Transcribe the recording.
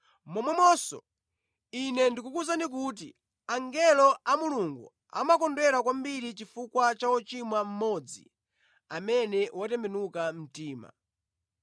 Momwemonso, Ine ndikukuwuzani kuti angelo a Mulungu amakondwera kwambiri chifukwa cha wochimwa mmodzi amene watembenuka mtima.”